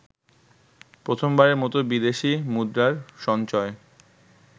প্রথমবারের মত বিদেশি মুদ্রার সঞ্চয়